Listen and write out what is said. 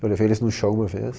Eu levei eles num show uma vez.